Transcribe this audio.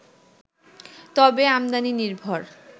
তবে আমদানি নির্ভর